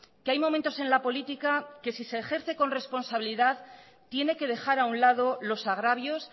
que hay momentos en la política que si se ejerce con responsabilidad tiene que dejar a un lado los agravios